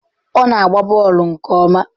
Ọ na-agba bọọlụ nke ọma?